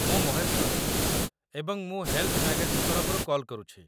ମୁଁ ମହେଶ ପ୍ରଦୀପ, ଏବଂ ମୁଁ ହେଲ୍ଥ ମ୍ୟାଗାଜିନ୍ ତରଫରୁ କଲ୍ କରୁଛି।